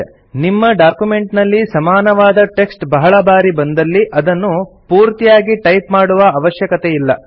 ನಿಮ್ಮ ಡಾಕ್ಯುಮೆಂಟ್ ನಲ್ಲಿ ಸಮಾನವಾದ ಟೆಕ್ಸ್ಟ್ ಬಹಳ ಬಾರಿ ಬಂದಲ್ಲಿ ಅದನ್ನು ಪೂರ್ತಿಯಾಗಿ ಟೈಪ್ ಮಾಡುವ ಅವಶ್ಯಕತೆಯಿಲ್ಲ